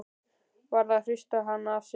Varð að hrista hann af sér!